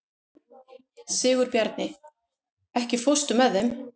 Sigurbjarni, ekki fórstu með þeim?